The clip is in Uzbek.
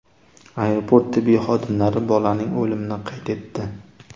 Aeroport tibbiy xodimlari bolaning o‘limini qayd etdi.